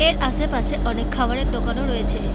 এর আশেপাশে অনেক খাবারের দোকান ও রয়েছে।